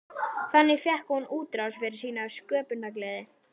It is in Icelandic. Þannig fékk hún útrás fyrir sína sköpunargleði.